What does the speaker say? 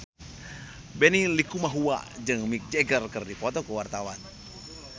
Benny Likumahua jeung Mick Jagger keur dipoto ku wartawan